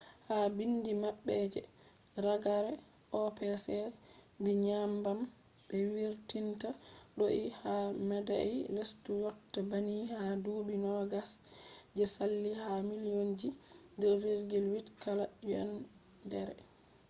ha biindi maɓɓe je ragare opec vi nyebbam be vurtinta do’i ha meɗai lestu yotta banni ha duuɓi nogas je saali ha millionji 2.8 kala yendere